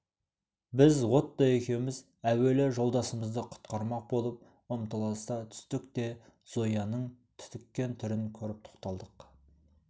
біз отто екеуміз әуелі жолдасымызды құтқармақ болып ұмтылыса түстік те зояның түтіккен түрін көріп тоқталдық